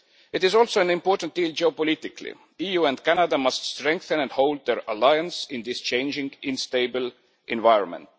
It is also an important deal geopolitically. The EU and Canada must strengthen and hold their alliance in this changing, unstable environment.